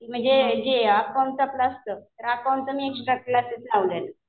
म्हणजे जे अकाऊंटचं आपलं असतं. अकाऊंटचं मी एक्स्ट्रा क्लासेस लावले.